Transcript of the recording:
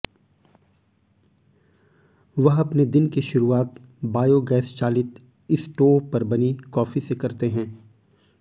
वह अपने दिन की शुरुआत बायोगैस चालित स्टोव पर बनी कॅाफी से करते है